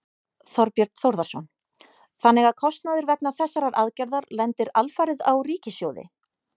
Þorbjörn Þórðarson: Þannig að kostnaður vegna þessarar aðgerðar lendir alfarið á ríkissjóði?